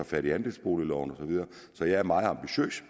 fat i andelsboligloven og så videre så jeg er meget ambitiøs